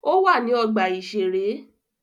Ó wà ní ọgbà-ìṣeré